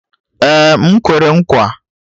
Ee, m kwere nkwa